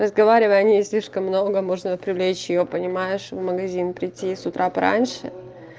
разговаривая о ней слишком много можно привлечь её понимаешь в магазин прийти с утра пораньше